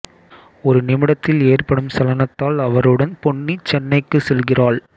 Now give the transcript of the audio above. ஒரு நிமிடத்தில் ஏற்படும் சலனத்தால் அவருடன் பொன்னி சென்னைக்கு செல்கிறாள்